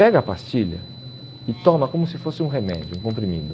Pega a pastilha e toma como se fosse um remédio, um comprimido.